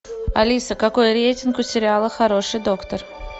алиса какой рейтинг у сериала хороший доктор